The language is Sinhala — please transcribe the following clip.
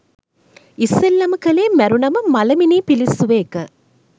ඉස්සෙල්ලම කලේ මැරුනම මලමිනී පිලිස්සුව එක